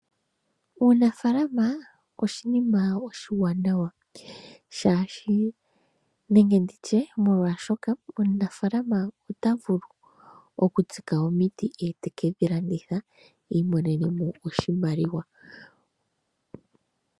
Uunafaalama oshinima oshiwanawa molwaashoka omunafaalama ota vulu okutsika omiti, ye taka landitha i imonene mo oshimaliwa.